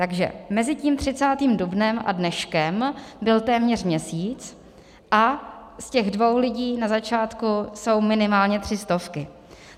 Takže mezi tím 30. dubnem a dneškem byl téměř měsíc a z těch dvou lidí na začátku jsou minimálně tři stovky.